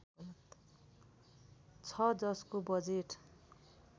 छ जसको बजेट